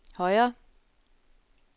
højre